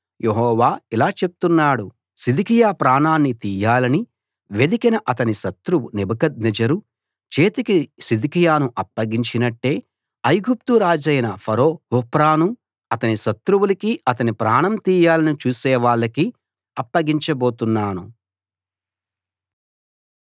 యెహోవా ఇలా చెప్తున్నాడు సిద్కియా ప్రాణాన్ని తీయాలని వెదికిన అతని శత్రువు నెబుకద్నెజరు చేతికి సిద్కియాను అప్పగించినట్టే ఐగుప్తు రాజైన ఫరో హోఫ్రాను అతని శత్రువులకీ అతని ప్రాణం తీయాలని చూసేవాళ్లకీ అప్పగించబోతున్నాను